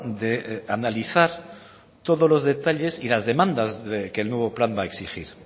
de analizar todos los detalles y las demandas que el nuevo plan va a exigir